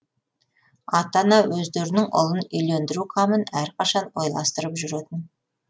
ата ана өздерінің ұлын үйлендіру қамын әрқашан ойластырып жүретін